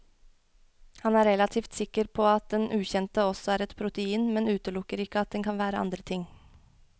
Han er relativt sikker på at den ukjente også er et protein, men utelukker ikke at det kan være andre ting.